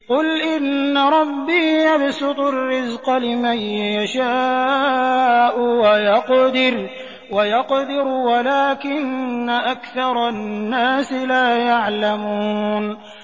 قُلْ إِنَّ رَبِّي يَبْسُطُ الرِّزْقَ لِمَن يَشَاءُ وَيَقْدِرُ وَلَٰكِنَّ أَكْثَرَ النَّاسِ لَا يَعْلَمُونَ